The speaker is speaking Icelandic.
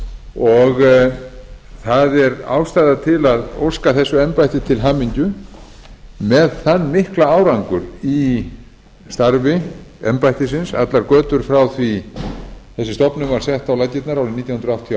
og það er ástæða til að óska þessu embætti til hamingju með þann mikla árangur í starfi embættisins allar götur frá því þessi stofnun var sett á laggirnar árið nítján hundruð áttatíu